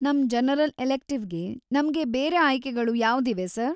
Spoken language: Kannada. ನಮ್‌ ಜನರಲ್‌ ಎಲೆಕ್ಟಿವ್‌ಗೆ ನಮ್ಗೆ ಬೇರೆ ಆಯ್ಕೆಗಳು ಯಾವ್ದಿವೆ ಸರ್?